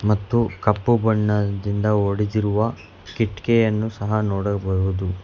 ಮತ್ತು ಕಪ್ಪು ಬಣ್ಣದಿಂದ ಹೊಡೆದಿರುವ ಕಿಟ್ಟಿಗೆಯನ್ನು ಸಹ ನೋಡಬಹುದು.